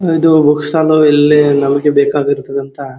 ಇದು book stall ಇಲ್ಲಿ ನಮಗೆ ಇರ್ತದಂತ.